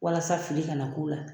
Walasa fili kana k'u la